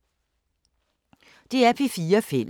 DR P4 Fælles